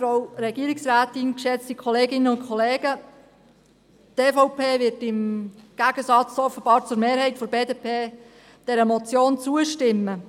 Die EVP wird, offenbar im Gegensatz zur Mehrheit der BDP, dieser Motion zustimmen.